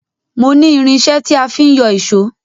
Mo ní irinṣẹ́ tí a fi ń yọ ìṣó